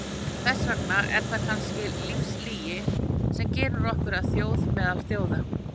Þess vegna er það kannski lífslygi sem gerir okkur að þjóð meðal þjóða.